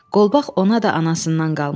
Qolbaq ona da anasından qalmışdı.